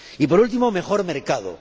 Y, por último, mejor mercado.